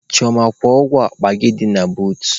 Chioma, kwụọ ụgwọ akpa gị dị na bootu!.